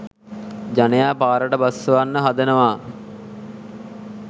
ජනයා පාරට බස්සවන්න හදනවා